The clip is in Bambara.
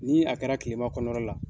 Ni a kɛra tilema kɔnɔna la.